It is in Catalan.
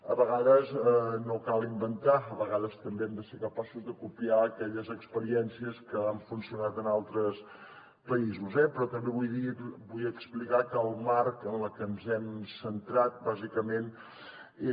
a vegades no cal inventar a vegades també hem de ser capaços de copiar aquelles experiències que han funcionat en altres països eh però també vull explicar que el marc en el que ens hem centrat bàsicament és